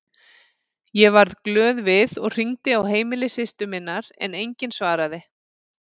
Ég varð glöð við og hringdi á heimili systur minnar en enginn svaraði.